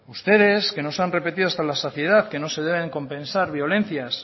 ustedes que nos han repetido hasta la saciedad que no se deben compensar violencias